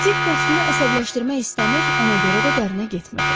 Dik dostunu əsəbləşdirmək istəmir, ona görə də dərinə getmirdi.